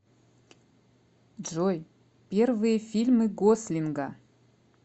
джой первые фильмы гослинга